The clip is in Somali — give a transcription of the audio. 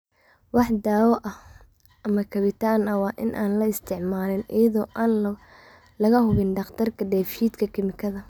Wax daawo ah ama kabitaan ah waa in aan la isticmaalin iyada oo aan laga hubin dhakhtarka dheef-shiid kiimikaadka.